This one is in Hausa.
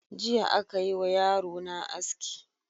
Jiya aka yi wa yarona aski.